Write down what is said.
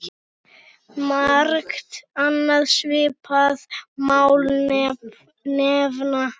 Margt annað svipað má nefna.